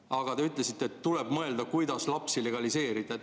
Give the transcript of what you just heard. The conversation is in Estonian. Aga te ütlesite, et tuleb mõelda, kuidas lapsi legaliseerida.